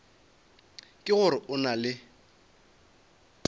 ke gore o na le